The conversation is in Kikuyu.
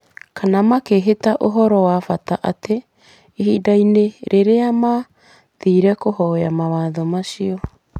kana makĩhitha ũhoro wa bata atĩ, ihinda-inĩ rĩrĩa maathire kũhoya mawatho macio,